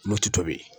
N'o tɛ tobi